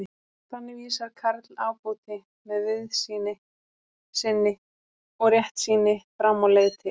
Þannig vísar Karl ábóti, með víðsýni sinni og réttsýni, fram á leið til